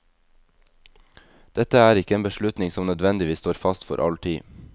Dette er ikke en beslutning som nødvendigvis står fast for all tid.